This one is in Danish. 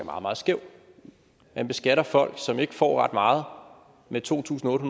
meget meget skæv man beskatter folk som ikke får ret meget med to tusind otte